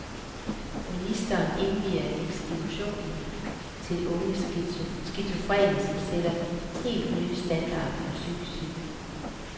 Ministeren indvier institution til unge skizofrene, som sætter helt ny standard for psykisk syge.